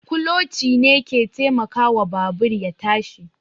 Kuloci ne ke taimakawa babur ya tashi